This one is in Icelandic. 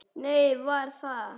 Nei, ég var þar